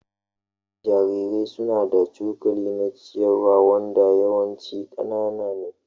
Jarirai suna da cokali na ciyarwa wanda yawanci ƙanana ne.